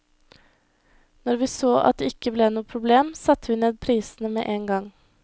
Når vi så at det ikke ble noe problem, satte vi ned prisene med en gang.